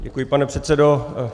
Děkuji, pane předsedo.